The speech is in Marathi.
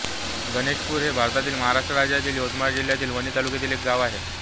गणेशपूर हे भारतातील महाराष्ट्र राज्यातील यवतमाळ जिल्ह्यातील वणी तालुक्यातील एक गाव आहे